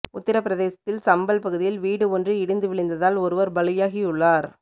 உத்திர பிரதேசத்தில் சம்பல் பகுதியில் வீடு ஒன்று இடிந்து விழுந்ததால் ஒருவர் பலியாகியுள்ளார்